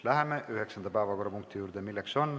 Läheme üheksanda päevakorrapunkti juurde.